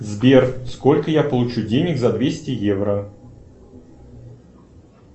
сбер сколько я получу денег за двести евро